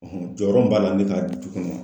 jɔyɔrɔ mun b'a la ne ka du kɔnɔ.